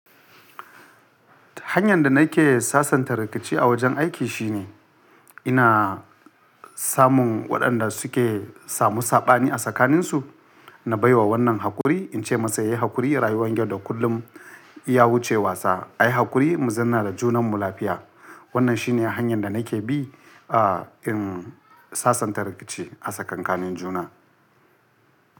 Hanyar da nake sasanta rikici a wajen aiki shine ina samun waɗanda suke samu saɓani a tsakaninsu, na baiwa wannan hakuri ince masa yayi hakuri rayuwan yau da kullum ya wuce wasa. Ayi haƙuri mu zanna da junanmu lafiya. Wannan shine hanyar da nake bi in sasanta rikici a tsakankanin juna.